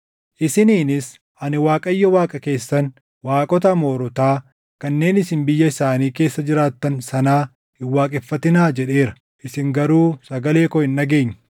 Isiniinis, ‘Ani Waaqayyo Waaqa keessan; waaqota Amoorotaa kanneen isin biyya isaanii keessa jiraattan sanaa hin waaqeffatinaa’ jedheera. Isin garuu sagalee koo hin dhageenye.”